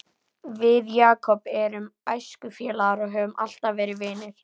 Við Jakob erum æskufélagar og höfum alltaf verið vinir.